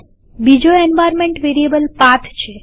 બીજો environment variable path છે